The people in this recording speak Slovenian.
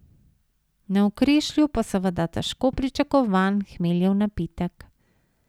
Na Okrešlju pa seveda težko pričakovan hmeljev napitek.